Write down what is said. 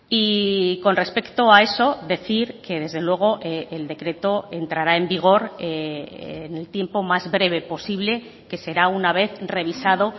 y con respecto a eso decir que desde luego el decreto entrará en vigor en el tiempo más breve posible que será una vez revisado